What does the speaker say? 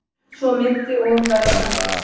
Svo myndi og verða framvegis.